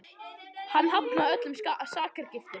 Hann hafnaði öllum sakargiftum